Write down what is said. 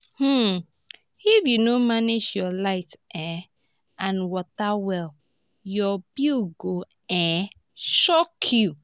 um if you no manage your light um and water well your bill go um shock you.